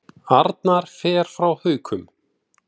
Arnar fer frá Haukum